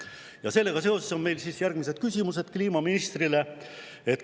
Ja sellega seoses on meil järgmised küsimused kliimaministrile.